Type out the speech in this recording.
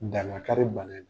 Dan ka kari bana in na.